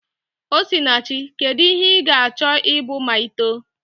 Osinachi, kedu ihe ị ga-achọ ịbụ ma i too?